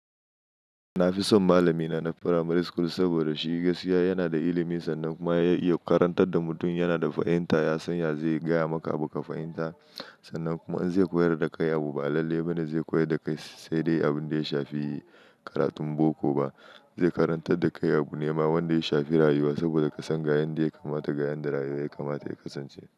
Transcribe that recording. Na fi son malamina na primary school saboda shi gaskiya yana da ilimi sannan kuma ya iya karantar da mutum yana da fahimta. Ya san yadda zai gaya maka abu ka fahimta, sannan kuma an zai koyar da kai abu ba lalle bana zai koyar da kai sai dai abin da ya shafi yi karatun boko ba. Zai karantar da kai abu nema wanda ya shafi rayuwa saboda ka san ga yanda ya kamata, ga yanda rayuwa ya kamata ya kasance.